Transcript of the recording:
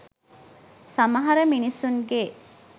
සමහර මිනිස්සුන්ගේ